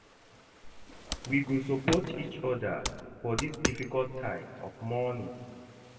We go support each oda for dis difficult time of mourning.